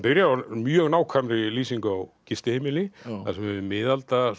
mjög nákvæmri lýsingu á gistiheimili þar sem er miðaldra